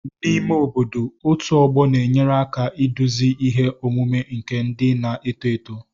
N'ime obodo, otu ọgbọ na-enyere aka iduzi ihe omume nke ndị na-eto eto